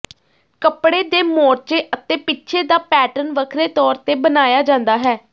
ਕੱਪੜੇ ਦੇ ਮੋਰਚੇ ਅਤੇ ਪਿੱਛੇ ਦਾ ਪੈਟਰਨ ਵੱਖਰੇ ਤੌਰ ਤੇ ਬਣਾਇਆ ਜਾਂਦਾ ਹੈ